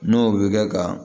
N'o bɛ kɛ ka